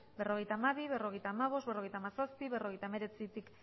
berrogeita hamabi berrogeita hamabost berrogeita hamazazpi berrogeita hemeretzitik